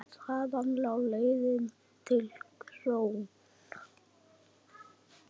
Þaðan lá leiðin til KRON.